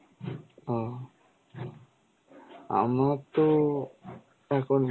ও আমার তো এখন